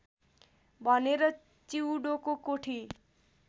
भनेर चिउँडोको कोठी